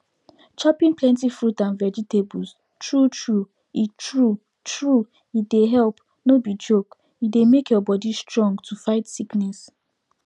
chopping plenty fruit and vegetables true true e true true e dey help no be joke e dey make your body strong to fight sickness